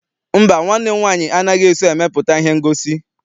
Mba, nwanne m nwaanyị anaghị eso emepụta ihe ngosi.